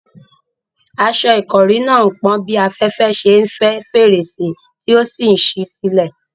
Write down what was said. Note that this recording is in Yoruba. Aṣọ ìkọ́rí náà ń pọ́n bí afẹ́fẹ́ ṣe ń fẹ́ fèrèsé tí ó ṣí sílẹ̀.